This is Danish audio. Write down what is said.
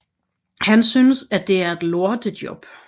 Han synes at det er et lortejob